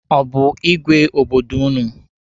Ọ bụ igwe obodo ụnụ?